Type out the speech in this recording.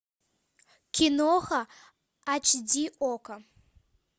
киноха ач ди окко